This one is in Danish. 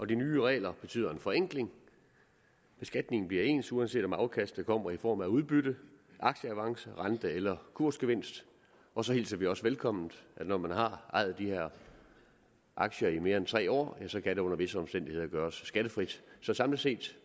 de nye regler betyder en forenkling beskatningen bliver ens uanset om afkastet kommer i form af udbytte aktieavance rente eller kursgevinst og så hilser vi også velkommen at når man har ejet de her aktier i mere end tre år kan det under visse omstændigheder gøres skattefrit så samlet set